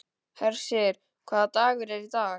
Hersir, hvaða dagur er í dag?